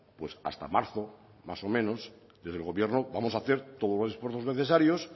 pues hasta marzo más o menos desde el gobierno vamos a hacer todos los esfuerzos necesarios